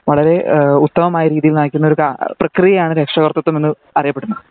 വളരെ എഹ് ഉത്തമമായ രീതിയിൽ നയിക്കുന്ന ഒരു കാ .. പ്രക്രിയ ആണ് രക്ഷാകർത്തിതം എന്ന പറയപ്പെടുന്നത്